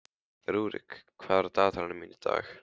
Rúrik, hvað er á dagatalinu mínu í dag?